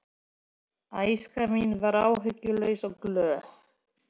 Æska mín var áhyggjulaus og glöð.